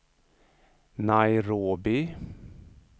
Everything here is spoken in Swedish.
Nairobi